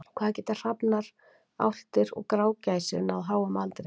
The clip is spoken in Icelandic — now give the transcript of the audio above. Hvað geta hrafnar, álftir og grágæsir náð háum aldri?